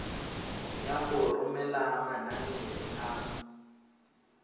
ya go romela manane a